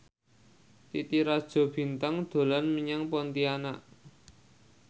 Titi Rajo Bintang dolan menyang Pontianak